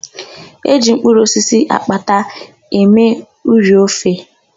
E ji mkụrụ osisi akparata eme ụrị ofe.